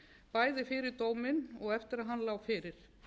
bæði fyrir dóminn og eftir að hann lá fyrir